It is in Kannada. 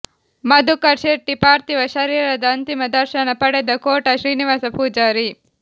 ಮಧುಕರ್ ಶೆಟ್ಟಿ ಪಾರ್ಥಿವ ಶರೀರದ ಅಂತಿಮ ದರ್ಶನ ಪಡೆದ ಕೋಟ ಶ್ರೀನಿವಾಸ ಪೂಜಾರಿ